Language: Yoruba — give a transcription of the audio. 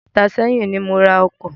Ọjọ́ méta ṣẹ́yìn ni mo ra ọkọ̀.